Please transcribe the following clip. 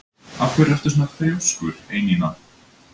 Af hverju ertu svona þrjóskur, Einína?